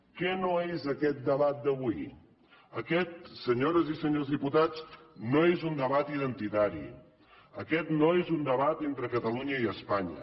què no és aquest debat d’avui aquest senyores i senyors diputats no és un debat identitari aquest no és un debat entre catalunya i espanya